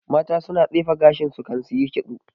Mata su na tsefe gashin su kan suyi ƙitso